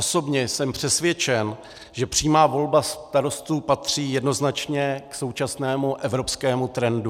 Osobně jsem přesvědčen, že přímá volba starostů patří jednoznačně k současnému evropskému trendu.